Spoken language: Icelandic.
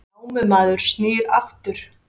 Námumaður snýr aftur